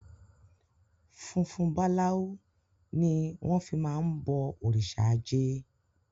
Funfun balau ni wọn fi máa ń bọ òrìṣà ajé.